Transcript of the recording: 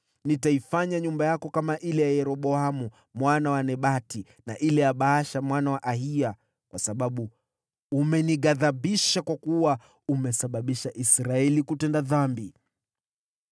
Nitaifanya nyumba yako kama ile ya Yeroboamu mwana wa Nebati na ile ya Baasha mwana wa Ahiya, kwa sababu umenighadhibisha kwa kuwa umesababisha Israeli kutenda dhambi.’